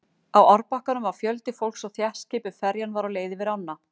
Á árbakkanum var fjöldi fólks og þéttskipuð ferjan var á leið yfir ána.